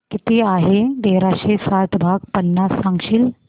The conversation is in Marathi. किती आहे तेराशे साठ भाग पन्नास सांगशील